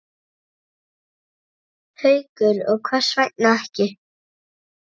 Haukur: Og hvers vegna ekki?